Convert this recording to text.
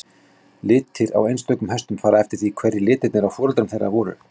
Litir á einstökum hestum fara eftir því hverjir litirnir á foreldrum þeirra voru.